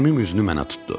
Əmim üzünü mənə tutdu.